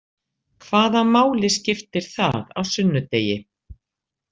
Hvaða máli skiptir það á sunnudegi?